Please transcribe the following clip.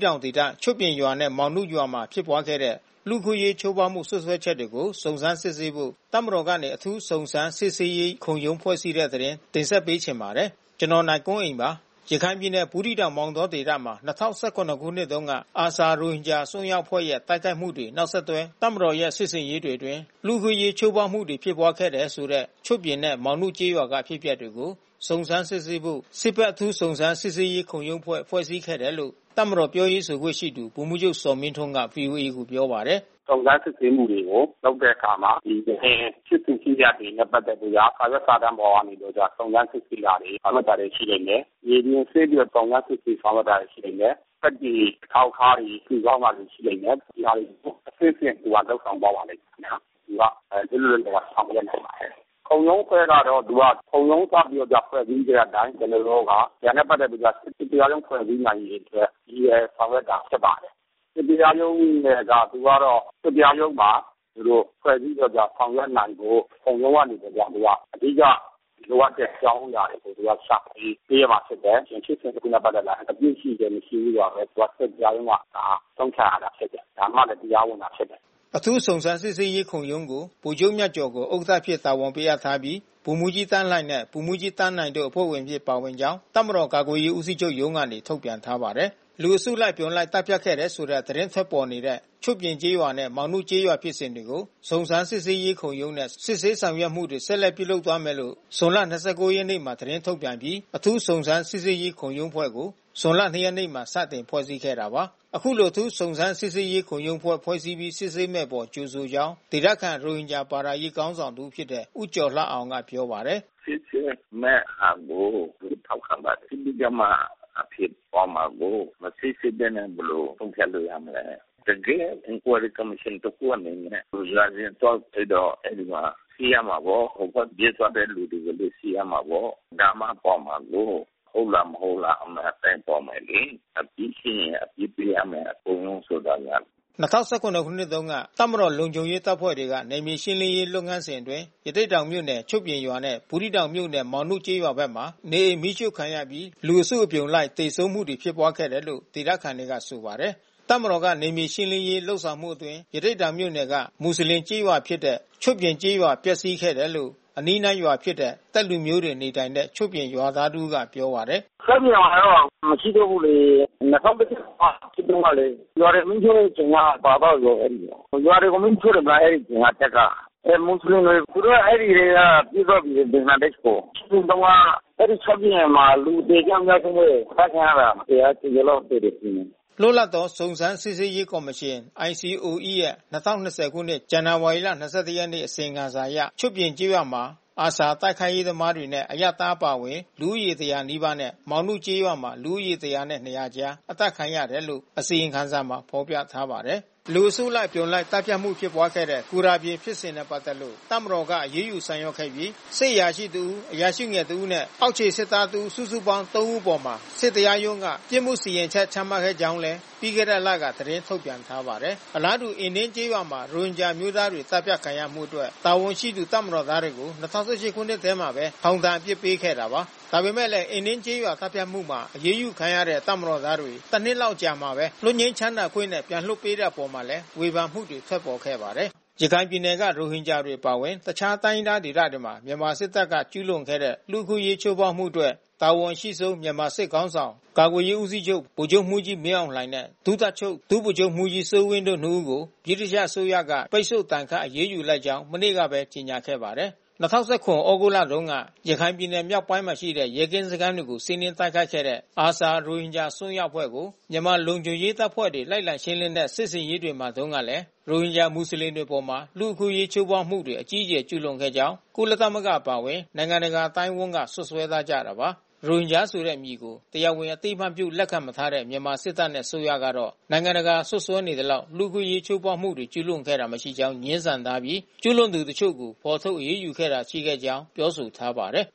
တောင်ဒေသ ချွတ်ပြင်ရွာနဲ့ မောင်နုရွာတွေမှာ ဖြစ်ပွားခဲ့တဲ့ လူ့အခွင့်အရေး ချိုးဖောက်မှု စွပ်စွဲချက်တွေကို စုံစမ်းစစ်ဆေးဖို့ တပ်မတော်ကနေ အထူးစုံစမ်းစစ်ဆေးရေးခုံရုံးဖွဲ့စည်းတဲ့ သတင်း တင်ဆက်ပေးချင်ပါတယ်။ ဗွီအိုအေမြန်မာပိုင်းသတင်းထောက် ကိုနိုင်ကွန်းအိန်က ပြောပြပေးပါမယ်။ ရခိုင်ပြည်နယ်၊ ဘူးသီးတောင်-မောင်တော ဒေသမှာ ၂၀၁၇ ခုနှစ်တုန်းက ARSA ရိုဟင်ဂျာ အစွန်းရောက်အဖွဲ့ရဲ့ တိုက်ခိုက်မှုတွေ နောက်ဆက်တွဲ တပ်မတော်ရဲ့ စစ်ဆင်ရေးတွေအတွင်း လူ့အခွင့်အရေး ချိုးဖောက်မှုတွေ ဖြစ်ပွားခဲ့တယ်လို့ဆိုတဲ့ ချွတ်ပြင်နဲ့ မောင်နုကျေးရွာတွေက အဖြစ်အပျက်တွေကို စုံစမ်းစစ်ဆေးဖို့ စစ်ဘက်အထူးစုံစမ်းစစ်ဆေးရေးခုံရုံးအဖွဲ့ ဖွဲ့စည်းခဲ့တယ်လို့ တပ်မတော်ပြောရေးဆိုခွင့်ရှိသူ ဗိုလ်မှူးချုပ် ဇော်မင်းထွန်းက ဗွီအိုအေကိုပြောပါတယ်။ “စုံစမ်းစစ်ဆေးမှုတွေလုပ်တဲ့အခါမှာ ယခင်ဖြစ်စဉ်၊ ဖြစ်ရပ်တွေနဲ့ ပတ်သက်ပြီးတော့လို့က စာရွက်စာတမ်းပေါ်ကနေပြီးတော့ စုံစမ်းစစ်ဆေးတာတွေ ဆောင်ရွက်တာတွေ ရှိလိမ့်မယ်။ မြေပြင်ဆင်းပြီး စုံစမ်းစစ်ဆေးတာတွေ ရှိလိမ့်မယ်။ သက်သေအထောက်ထားတွေ စုဆောင်းတာတွေ ရှိလိမ့်မယ်။ ဒီစာတွေကိုအဆင့်ဆင့် လုပ်ဆောင်သွားပါမယ်ခင်ဗျာ။ သူက လွတ်လွတ်လပ်လပ် ဆောင်ရွက်နိုင်ပါတယ်။ ခုံရုံးအဖွဲ့ကတော့ သူကခုံရုံးစပြီးတော့ဖွဲ့စည်းခဲ့တဲ့အတိုင်း ကျနော်တို့က ဒါနဲ့ ပတ်သက်ပြီးတော့က စစ်တရားရုံးဖွဲ့စည်းနိုင်ရေးအတွက် ရည်ရွယ်ဆောင်ရွက်တာ ဖြစ်ပါတယ်။ စစ်တရားရုံးအနေနဲ့ သူကတော့ စစ်တရားရုံးမှာသူတို့ ဖွဲ့စည်းပြီးတော့ ဆောင်ရွက်နိုင်ဖို့ ခုံရုံးကနေပြီးတော့ သူက အဓိက လိုအပ်တဲ့အကြောင်းအရာတွေကို သူက ရှာဖွေပေးရမှာဖြစ်တယ်။ ဖြစ်စဉ်တခုနဲ့ ပတ်သက်လာရင်အပြစ်ရှိတယ်၊ မရှိဘူးဆိုတာ စစ်တရားရုံးက ဆုံးဖြတ်ရတာဖြစ်တယ်။ ဒါမှလည်း တရားဝင်တာဖြစ်တယ်။” အထူးစုံစမ်းစစ်ဆေးရေးခုံရုံးကို ဗိုလ်ချုပ်မြတ်ကျော်ကို ဥက္ကဋ္ဌအဖြစ် တာဝန်ပေးအပ်ထားပြီးဗိုလ်မှူးကြီးသန်းလှှိုင်နဲ့ ဗိုလ်မှူးကြီးသန်းနိုင်တို့အဖွဲ့ဝင်အဖြစ် ပါဝင်ကြောင်း တပ်မတော်ကာကွယ်ရေးဦးစီးချုပ်ရုံးကနေ ထုတ်ပြန်ထားပါတယ်။ လူအစုလိုက် အပြုံလိုက်သတ်ဖြတ်ခဲ့တယ်လို့သတင်းထွက်ပေါ်နေတဲ့ ချွတ်ပြင်ကျေးရွာနဲ့ မောင်နုကျေးရွာဖြစ်စဉ်တွေကို စုံစမ်းစစ်ဆေးရေးခုံရုံးနဲ့ စစ်ဆေးဆောင်ရွက်မှုတွေ ဆက်လက်ပြုလုပ်သွားမယ်လို့ ဇွန် ၂၉ ရက်နေ့မှာ သတင်းထုတ်ပြန်ပြီး အထူးစုံစမ်းစစ်ဆေးရေးခုံရုံးအဖွဲ့ကို ဇူလိုင် ၂ ရက်မှာ စတင် ဖွဲ့စည်းခဲ့တာပါ။ အခုလို အထူးစုံစမ်းစစ်ဆေးရေးခုံရုံးအဖွဲ့ကို ဖွဲ့ပီးစစ်ဆေးမယ့်အပေါ် ကြိုဆိုကြောင်း ဒေသခံ ရိုဟင်ဂျာဘာသာရေးခေါင်းဆောင် တဦးဖြစ်တဲ့ ဦးကျော်လှအောင်က ပြောပါတယ်။ “စစ်ဆေးမဲ့ဟာကို ကျနော်တို့ ထောက်ခံပါတယ်။ စစ်ဆေးကြမှ အဖြေပေါ်မှာကိုး။ မစစ်ဆေးဘဲနဲ့ ဘယ်လို ဆုံးဖြတ်လို့ရမလဲ။ တကယ့် Inquiry ကော်မရှင်စစ်ဆေးတဲ့အနေနဲ့ ရွာစဉ်သွားစစ်တော့ အဲဒီမှာ တွေ့ရမှာပေါ့။ ဟိုဘက်ပြေးသွားတဲ့ လူတွေကိုလည်း ကြည့်ရမှာပေါ့။ ဒါမှပေါ်မှာကိုး။ ဟုတ်လား၊ မဟုတ်လား အမှန်အတိုင်းပေါ်မယ်လေ။ အပြစ်ရှိရင် အပြစ် ပေးရမယ် ခုံရုံးဆိုတာက။” ၂၀၁၇ ခုနှစ်တုန်းက တပ်မတော် လုံခြုံရေးတပ်ဖွဲ့တွေက နယ်မြေရှင်းလင်းရေး လုပ်ငန်းစဉ်အတွင်း ရသေ့တောင်မြို့နယ် ချွတ်ပြင်ရွာနဲ့ ဘူးသီးတောင်မြို့နယ် မောင်နုကျေးရွာဘက်မှာ နေအိမ်မီးရှှို့ခံရပြီး လူအစုလိုက်အပြုံလိုက် သေဆုံးမှုတွေဖြစ်ပွားခဲ့တယ်လို့ ဒေသခံတွေက ဆိုပါတယ်။ တပ်မတော်က နယ်မြေရှင်းလင်းရေးလုပ်စဉ်အတွင်း ရသေ့တောင်မြို့နယ်က မူဆလင်ကျေးရွာဖြစ်တဲ့ ချွတ်ပြင်ရွာပျက်စီးခဲ့တယ်လို့ အနီးနားရွာဖြစ်တဲ့ သက်လူမျိုးတွေ နေထိုင်တဲ့ချွတ်ပြင်ကျေးရွာသား တဦးကပြောပါတယ်။ “ချွတ်ပြင်ရွာက မရှိတော့ဘူးလေ။ ၂၀၁၇ က ဖြစ်တုန်းကလေ။ ရွာတွေမီးရှို့စဉ်က ပါသွားပြီလေ အဲဒီရွာ။ ရွာတွေကို မီးရှို့တယ်မဟုတ်လား... အဲဒီအချိန်က တပ်က။ မူဆလင်တွေ သူတို့က အဲဒီကတည်းက ပြေးသွားပြီလေ ဘင်္ဂလားဒေ့ရ်ှကို။ ဖြစ်စဉ်တုန်းက အဲဒီချွတ်ပြင်မှာ လူအသေအပျောက်အများဆုံးပဲ။ အသတ်ခံရတာ ၁၀၀ ကျော်ကျော်လောက် သေတယ် ထင်တယ်။” လွတ်လပ်သော စုံစမ်းစစ်ဆေးရေးကော်မရှင် ICOE ရဲ့ ၂၀၂၀ ခုနှစ်၊ ဇန်နဝါရီ ၂၁ ရက်နေ့ အစီရင်ခံစာအရ ချွတ်ပြင်ကျေးရွာမှာ ARSA တိုက်ခိုက်ရေးသမားတွေနဲ့ အရပ်သားတွေအပါအဝင်လူဦးရေ ၁၀၀ နီးပါးနဲ့ မောင်နုကျေးရွာမှာ လူဦးရေ ၁၀၀ နှင့် ၂၀၀ ကြား အသတ်ခံခဲ့ရတယ်လို့ အစီရင်ခံစာမှာ ဖော်ပြပါရှိပါတယ်။ လူအစုလိုက် အပြုံလိုက် သတ်ဖြတ်မှု ဖြစ်ပွါးခဲ့တဲ့ ဂူတာပြင်ရွာ ဖြစ်စဉ်နဲ့ ပတ်သက်လို့ တပ်မတော်က အရေးယူဆောင်ရွက်ခဲ့ပြီး စစ်အရာရှိကြီးတဦး၊ အရာရှိငယ်တဦးနဲ့ အောက်ခြေစစ်သားတဦး စုစုပေါင်း သုံးဦးအပေါ် စစ်တရားရုံးက ပြစ်မှုစီရင် ချက်ချမှတ်ခဲ့ကြောင်းလည်းပြီးခဲ့တဲ့လထဲမှာပဲ သတင်းထုတ်ပြန်ထားပါတယ်။ အလားတူ အင်းဒင်ကျေးရွာမှာ ရိုဟင်ဂျာအမျိုးသားတွေ သတ်ဖြတ်ခံရမှုအတွက် တာဝန်ရှိသူ တပ်မတော်သားတွေကို ၂၀၁၈ ခုနှစ်ထဲမှာပဲ ထောင်ဒဏ်အပြစ်ပေးခဲ့တာပါ။ ဒါပေမဲ့လည်း အင်းဒင်ကျေးရွာ သတ်ဖြတ်မှုမှာ အရေးယူခံခဲ့ရတဲ့ တပ်မတော်သားတွေ တနှစ်လောက်အကြာမှာပဲ လွတ်ငြိမ်းချမ်းသာခွင့်နဲ့ ပြန်လွှတ်ပေးခဲ့တဲ့ အပေါ်မှာလည်း ဝေဖန်မှုတွေ ထွက်ပေါ်ခဲ့ပါတယ်။ ရခိုင်ပြည်နယ်က ရိုဟင်ဂျာတွေအပါအဝင် အခြားတိုင်းရင်းသားဒေသတွေမှာ မြန်မာစစ်တပ်က ကျူးလွန်ခဲ့တဲ့ လူအခွင့်အရေး ချိုးဖေါက်မှုတွေအတွက် တာဝန်အရှိဆုံး မြန်မာစစ်ခေါင်းဆောင် ကာကွယ်ရေး ဦးစီချုပ် ဗိုလ်ချုပ်မှူးကြီး မင်းအောင်လှိုင်နဲ့ ဒုတပ်ချုပ် ဒုဗိုလ်ချုပ်မှူးကြီး စိုးဝင်းတို့ နှစ်ဦးကို ဗြိတိန်အစိုးရက ပိတ်ဆို့ဒဏ်ခတ် အရေးယူ လိုက်ကြောင်းမနေ့တုန်းကပဲ ကြေညာခဲ့ပါတယ်။ ၂၀၁၇ သြဂုတ်လတုန်းက ရခိုင်ပြည်နယ် မြောက်ပိုင်းမှာရှိတဲ့ ရဲကင်းစခန်းတွေကို စီးနင်းတိုက်ခိုက်ခဲ့တဲ့ ARSA ရိုဟင်ဂျာ အစွန်းရောက် အဖွဲ့ကို မြန်မာလုံခြုံရေးတပ်ဖွဲ့တွေ လိုက်လံရှင်းလင်းတဲ့ စစ်ဆင်ရေးတွေမှာတုန်းကလည်း ရိုဟင်ဂျာ မူဆလင်တွေအပေါ် လူ့အခွင့်အရေး ချိုးဖောက်မှုတွေ အကြီးအကျယ် ကျုးလွန်ခဲ့ကြောင်း ကုလသမဂ္ဂ အပါအဝင် နိုင်ငံတကာ အသိုင်းအဝန်းက စွပ်စွဲထားကြတာပါ။ ရိုဟင်ဂျာဆိုတဲ့ အမည်ကို တရားဝင် အသိအမှတ်ပြု လက်ခံမထားတဲ့ မြန်မာစစ်တပ်နဲ့ အစိုးရကတော့ နိုင်ငံတကာက စွပ်စွဲနေသလောက် လူ့အခွင့်အရေး ချိုးဖောက်မှုတွေ ကျုးလွန်ခဲ့တာ မရှိကြောင်း ငြင်းဆန်ထားပြီး၊ ကျုးလွန်သူတချို့ကို ဖော်ထုတ်အရေးယူခဲ့တာတွေ ရှိခဲ့ကြောင်းလည်း ပြောဆိုထားပါတယ်